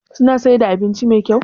Suna siyar da abinci Mai kyau?